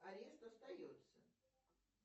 арест остается